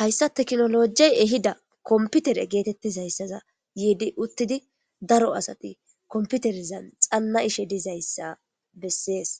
hayssa teknolojey ehida komputere geetettiz hayssaza yiidi uttidi daro asati komputerizan xanna ishe dizayssa bessees.